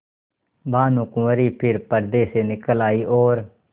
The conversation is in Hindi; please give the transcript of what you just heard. भानुकुँवरि फिर पर्दे से निकल आयी और